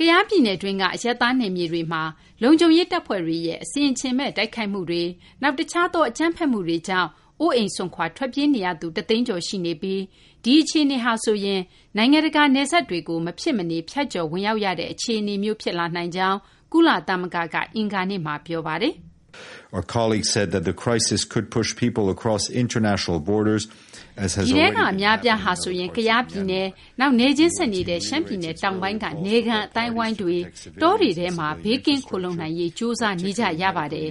ကယားပြည်နယ်တွင်းက အရပ်သား နယ်မြေတွေ အတွင်း လုံခြုံရေး တပ်ဖွဲ့တွေရဲ့ အဆင်အခြင်မဲ့ တိုက်ခိုက်မှုတွေ၊ နောက် တခြားသော အကြမ်းဖက်မှုတွေကြောင့် အိုးအိမ်စွန့်ခွာ ထွက်ပြေးနေရသူ ၁ သိန်းကျော် ရှိနေပြီး ဒီအခြေအနေက နိုင်ငံတကာ နယ်စပ်တွေကို မဖြစ်မနေ ဖြတ်ကျော် ဝင်ရောက်ရတဲ့ အခြေအနေမျိုး ဖြစ်လာနိုင်ကြောင်း ကုလသမဂ္ဂက အင်္ဂါနေ့မှာ ပြောပါတယ်။ “ဒီထဲက အများအပြားဟာဆိုရင် ကယားပြည်နယ်၊ နောက် နယ်ချင်းဆက်နေတဲ့ ရှမ်းပြည်နယ်တောင်ပိုင်းက နယ်ခံ အသိုင်းအဝိုင်းတွေ၊ တောတွေထဲမှာ ဘေးကင်းခိုလှုံနိုင်ရေး ကြိုးစားနေကြရပါတယ်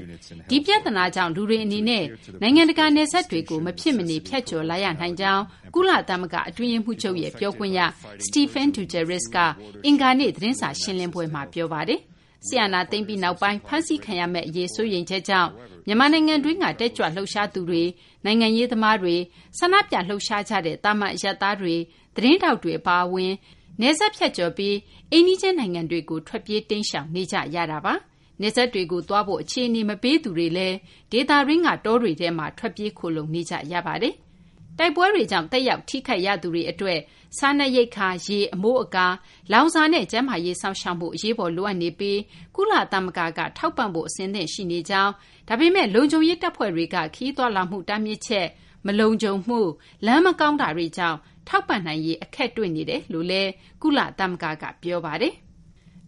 ။ ဒီပြသနာကြောင့် လူတွေ အနေနဲ့ နိုင်ငံတကာ နယ်စပ်တွေကို မဖြစ်မနေ ဖြတ်ကျော်လာရနိုင်ကြောင်း” ကုလသမဂ္ဂ အတွင်းရေးမှူးချုပ်ရဲ့ ပြောခွင့်ရ Stephane Dujarric က အင်္ဂါနေ့ သတင်းစာ ရှင်းလင်းပွဲမှာ ပြောပါတယ်။ စစ်အာဏာသိမ်းပြီးနောက်ပိုင်း ဖမ်းဆီးခံရမယ့် အရေးစိုးရိမ်ချက်ကြောင့် မြန်မာနိုင်ငံတွင်းက တက်ကြွလှုပ်ရှားသူတွေ၊ နိုင်ငံရေးသမားတွေ၊ ဆန္ဒပြလှုပ်ရှားကြတဲ့ သာမန် အရပ်သားတွေ သတင်းထောက်တွေ အပါအဝင် နယ်စပ် ဖြတ်ကျော်ပြီး အိမ်နီးချင်းနိုင်ငံတွေကို ထွက်ပြေး တိမ်းရှောင်နေကြရတာပါ။ နယ်စပ်တွေကို သွားဖို့ အခြေအနေ မပေးသူတွေလည်း ဒေသတွင်းက တောတွေထဲမှာ ထွက်ပြေးခိုလှုံနေကြရတာပါ။ တိုက်ပွဲတွေကြောင့် သက်ရောက် ထိခိုက်ရသူတွေ အတွက် စားနပ်ရိက္ခာ၊ ရေ၊ အမိုးအကာ၊ လောင်စာနဲ့ ကျန်းမာရေး စောင့်ရှောက်မှု အရေးပေါ် လိုအပ်နေပြီး ကုလသမဂ္ဂက ထောက်ပံ့ဖို့ အဆင့်ရှိနေကြောင်း၊ ဒါပေမယ့်လည်း လုံခြုံရေး တပ်ဖွဲ့တွေက ခရီးသွားလာမှု တားမြစ်ချက်၊ မလုံခြုံမှု၊ လမ်း မကောင်းတာတွေကြောင့် ထောက်ပံ့နိုင်ရေး အခက်တွေ့နေတယ်လို့လည်း ကုလသမဂ္ဂက ပြောပါတယ်။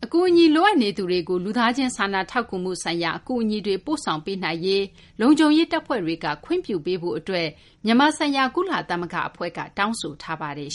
အကူအညီ လိုအပ်နေသူတွေကို လူသားချင်း စာနာထောက်ကူမှု ဆိုင်ရာ အကူအညီတွေ ပို့ဆောင်ပေးနိုင်ရေး လုံခြုံရေး တပ်ဖွဲ့တွေက ခွင့်ပြုပေးဖို့ အတွက် မြန်မာဆိုင်ရာ ကုလသမဂ္ဂ အဖွဲ့က တောင်းဆိုထားပါတယ်